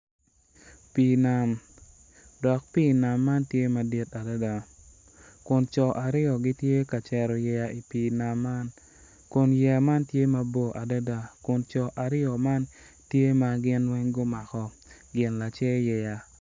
Pi nam dok pi nam man tye madit adada kun co aryo gitye ka cero yeya i pi nam man kun yeya man tye mabor adada kun co aryo man tye magin weng gumako gin lacer yeya,.